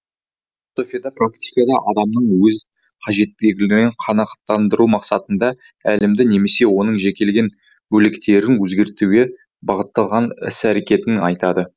философияда практика деп адамның өз қажеттіліктерін қанағаттандыру мақсатында әлемді немесе оның жекелеген бөліктерін өзгертуге бағытталған іс әрекетін айтады